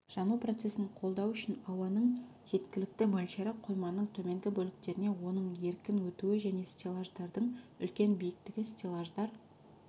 жану процесін қолдау үшін ауаның жеткілікті мөлшері қойманың төменгі бөліктеріне оның еркін өтуі және стеллаждардың үлкен биіктігі стеллаждар